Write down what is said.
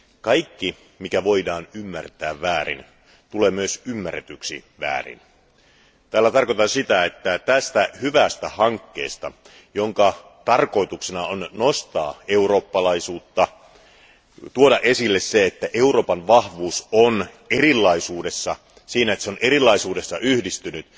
kaikki, mikä voidaan ymmärtää väärin, myös tulee ymmärretyksi väärin. Tällä tarkoitan sitä, että tämän hyvän hankkeen, jonka tarkoituksena on nostaa eurooppalaisuutta, tuoda esille se, että Euroopan vahvuus on erilaisuudessa, siinä, että se on erilaisuudessa yhdistynyt,